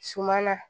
Suma na